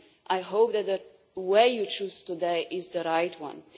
I hope that the way you choose today is the right one.